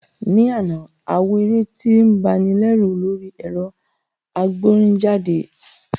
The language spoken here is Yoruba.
Ní àná, a wo eré tí ń ba ni lẹ́rù lórí ẹ̀rọ agbórinjáde